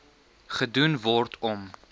gedoen word om